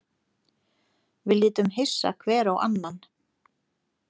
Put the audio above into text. Við litum hissa hver á annan.